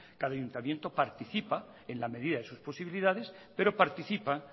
cada ayuntamiento participa en la medida de sus posibilidades pero participa